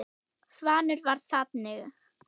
Svanur var þannig.